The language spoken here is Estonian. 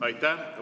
Aitäh!